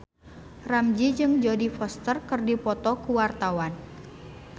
Ramzy jeung Jodie Foster keur dipoto ku wartawan